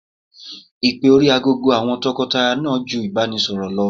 Ìpè orí aago àwọn tọkọtaya náà ju ìbánisọ̀rọ̀ lọ.